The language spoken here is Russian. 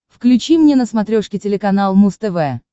включи мне на смотрешке телеканал муз тв